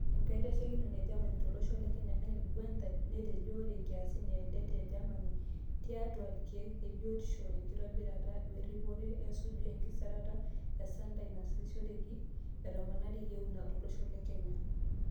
Enkaitashekinoni e Germany tolosho le Kenya Annett Guenther netejo ore nkiasin e det e Germany tiatu ilkeek lebiotisho, enkitobira, weripore, o esuju enkisirata o sentai naasishoreki etoponari yieuna tolosho le Kenya.